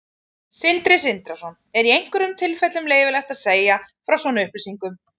Sindri Sindrason: Er í einhverjum tilfellum leyfilegt að segja frá svona upplýsingum?